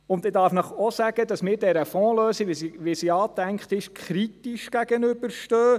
Ich darf Ihnen auch sagen, dass wir dieser Fondslösung, wie sie angedacht ist, kritisch gegenüberstehen.